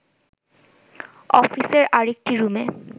অফিসের আরেকটি রুমে